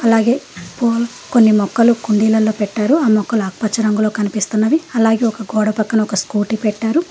అలాగే కోన్ కొన్ని మొక్కలు కుండీలలో పెట్టారు ఆ మొక్కలు నాకు పచ్చ రంగులో కనిపిస్తున్నది అలాగే ఒక గోడ పక్కన ఒక స్కూటీ పెట్టారు.